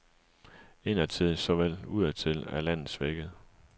Indadtil såvel som udadtil er landet svækket.